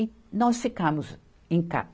E nós ficamos em casa.